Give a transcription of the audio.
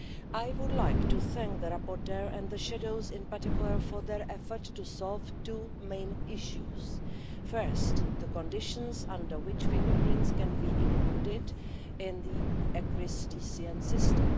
I would like to thank the rapporteur and the shadows in particular for their efforts to solve two main issues first, the conditions under which fingerprints can be included in the ECRIS-TCN system